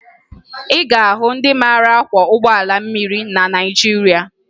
Ị ga-ahụ ndị mara akwọ ụgbọ mmiri na Naịjirịa